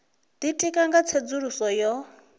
ditika nga u tsedzuluso yo